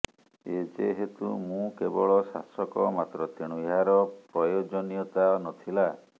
ଯେେହତୁ ମୁଁ କେବଳ ଶାସକ ମାତ୍ର ତେଣୁ ଏହାର ପ୍ରୟୋଜନୀୟତା ନଥିଲା